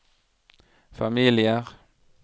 familier